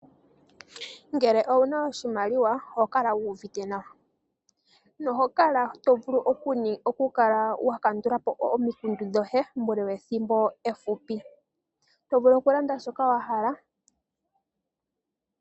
Ngele owu na oshimaliwa, oho kala wu uvite nawa. Oho kala to vulu oku kandula po omikundu dhoye muule wethimbo ehupi, to vulu oku landa shoka wa hala.